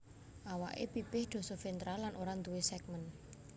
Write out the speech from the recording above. Awake pipih dosoventral lan ora duwé segmen